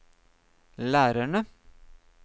lærerne